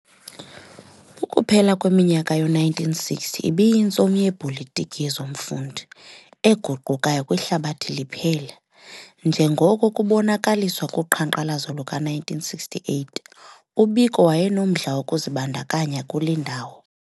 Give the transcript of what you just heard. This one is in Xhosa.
Ukuphela kweminyaka yo-1960 ibiyintsomi yeepolitiki yezomfundi eguqukayo kwihlabathi liphela, njengoko kubonakaliswa kuqhanqalazo luka-1968, uBiko wayenomdla wokuzibandakanya kule ndawo.